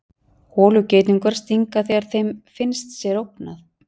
holugeitungar stinga þegar þeim finnst sér ógnað